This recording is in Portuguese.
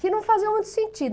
Que não fazia muito sentido.